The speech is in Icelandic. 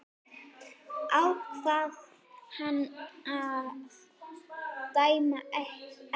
Ákvað hann að dæma ekki?